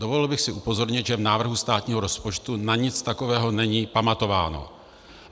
Dovolil bych si upozornit, že v návrhu státního rozpočtu na nic takového není pamatováno.